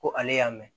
Ko ale y'a mɛn